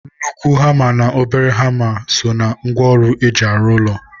Nnukwu hama na obere hama so na ngwa ọrụ eji alụ ụlọ.